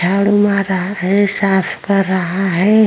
झाड़ू मार रहा है साफ कर रहा है।